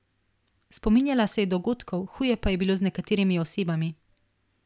Spominjala se je dogodkov, huje pa je bilo z nekaterimi osebami.